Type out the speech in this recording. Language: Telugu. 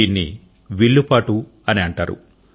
దీన్ని విల్లు పాటు అని అంటారు